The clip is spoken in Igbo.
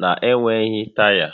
na-enweghị taya